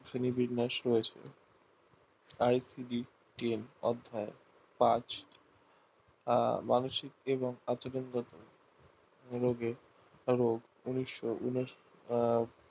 Sony বিন্যাস হয়েছে অধ্যায় কাজ মানুসিক এবং